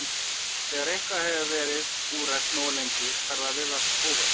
Þegar eitthvað hefur verið úrelt nógu lengi fer það að virðast óhjákvæmilegt.